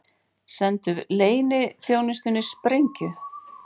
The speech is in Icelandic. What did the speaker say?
Sendu bresku leyniþjónustunni sprengju